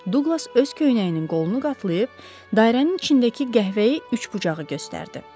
Duqlas öz köynəyinin qolunu qatlayıb dairənin içindəki qəhvəyi üçbucağı göstərdi.